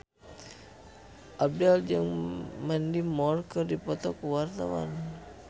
Abdel jeung Mandy Moore keur dipoto ku wartawan